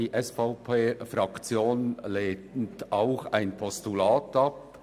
Die SVP-Fraktion lehnt auch ein Postulat ab.